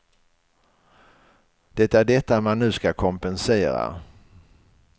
Det är detta man nu ska kompensera.